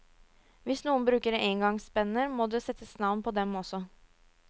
Hvis noen bruker engangspenner, må det settes navn på dem også.